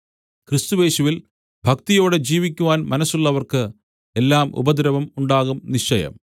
ക്രിസ്തുയേശുവിൽ ഭക്തിയോടെ ജീവിക്കുവാൻ മനസ്സുള്ളവർക്ക് എല്ലാം ഉപദ്രവം ഉണ്ടാകും നിശ്ചയം